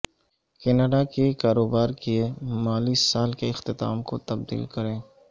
Canada کے کاروبار کے مالی سال کے اختتام کو تبدیل کریں